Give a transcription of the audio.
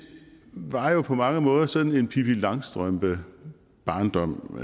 var jo på mange måder sådan en langstrømpe barndom